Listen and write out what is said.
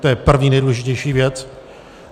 To je první, nejdůležitější věc.